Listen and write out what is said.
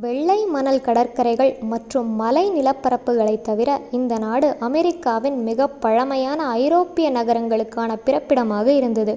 வெள்ளை மணல் கடற்கரைகள் மற்றும் மலை நிலப்பரப்புகளைத் தவிர இந்த நாடு அமெரிக்காவின் மிகப் பழமையான ஐரோப்பிய நகரங்களுக்கான பிறப்பிடமாக இருந்தது